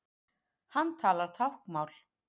Hann talar táknmál.